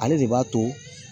Ale de b'a to